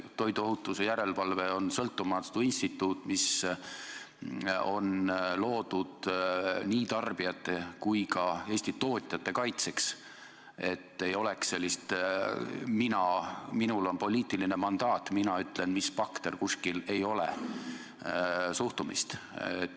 Toiduohutuse järelevalve on sõltumatu instituut, mis on loodud nii tarbijate kui ka Eesti tootjate kaitseks, et ei oleks sellist suhtumist, et minul on poliitiline mandaat, mina ütlen, mis bakter kuskil on või ei ole.